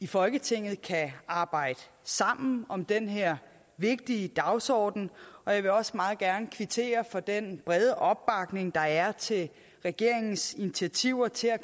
i folketinget kan arbejde sammen om den her vigtige dagsorden og jeg vil også meget gerne kvittere for den brede opbakning der er til regeringens initiativer til at